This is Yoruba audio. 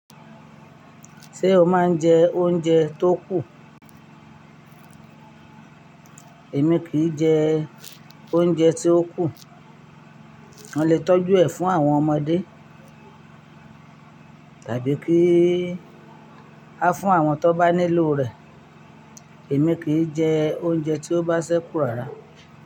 Ṣé o máa ń jẹ oúnjẹ tó kù? Èmi kì í jẹ oúnjẹ tó kù. Mo lè tọ́jú ẹ̀ fún àwọn ọmọdé tàbí kí a fún àwọn tó bá nílò rẹ̀. Èmi kì í jẹ oúnjẹ tí ó bá ṣẹ́kù rárá.